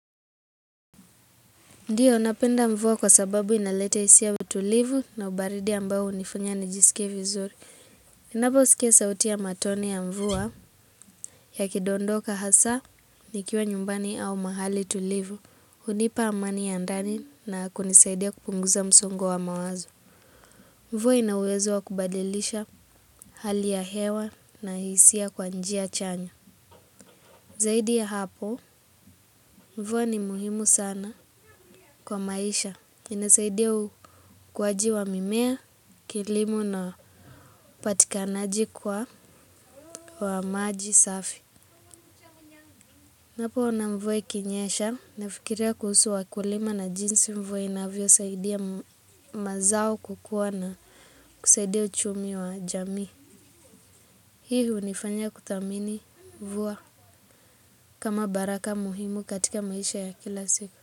Ndiyo, napenda mvuwa kwa sababu inalete isi ya utulivu na ubaridi ambao unifunya nijisike vizuri. Ninabo sikie sauti ya matone ya mvuwa yakidondoka hasa nikiwa nyumbani au mahali tulivu. Hunipa amani ya ndani na kunisaidia kupunguza msongo wa mawazo. Mvuwa ina uwezo wa kubadilisha hali ya hewa na isi ya kwa njia chanya. Zaidi ya hapo, mvuwa ni muhimu sana kwa maisha. Inasaidia ukwaji wa mimea, kilimo na upatikanaji kwa wa maji safi. Napo ona mvuwa ikinyesha, nafikiria kuhusu wa kulima na jinsi mvuwa inavyo saidia mazao kukuwa na kusaidia uchumi wa jami. Hii unifanya kutamini mvua kama baraka muhimu katika maisha ya kila siku.